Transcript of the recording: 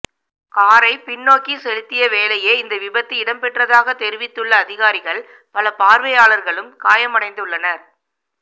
காரை பின்னோக்கி செலுத்திய வேளையே இந்த விபத்து இடம்பெற்றதாக தெரிவித்துள்ள அதிகாரிகள் பல பார்வையாளர்களும் காயமடைந்துள்ளனர்